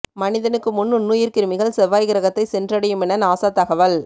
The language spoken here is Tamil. மனிதனுக்கு முன் நுண்ணுயிர் கிருமிகள் செவ்வாய் கிரகத்தை சென்றடையுமென நாசா தகவல்